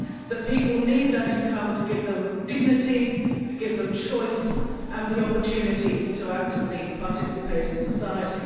That people need that income to give them dignity, to give them choice and the opportunity to actively participate in society.